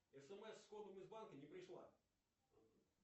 смс с кодом из банка не пришла